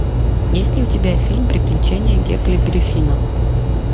есть ли у тебя фильм приключения гекльберри финна